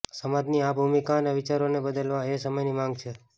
સમાજની આ ભૂમિકા અને વિચારોને બદલવા એ સમયની માંગ છે